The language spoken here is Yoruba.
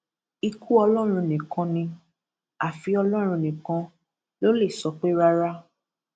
ikú ọlọrun nìkan ni àfi ọlọrun nìkan ló lè sọ pé rárá